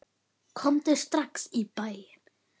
Komdu strax í bæinn.